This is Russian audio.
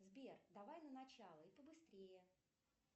сбер давай на начало и побыстрее